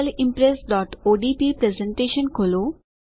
sample impressઓડીપી presentation ખોલો